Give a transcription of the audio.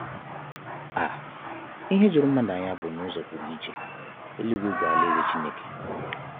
um Ihe juru mmadu anya bụ na ụzọ pụrụ iche, eluigwe bụ alaeze Chineke.